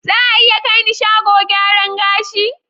Za a iya kai ni shago gyaran gashi?